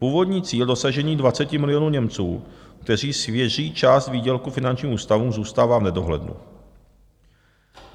Původní cíl dosažení 20 milionů Němců, kteří svěří část výdělku finančním ústavům, zůstává v nedohlednu.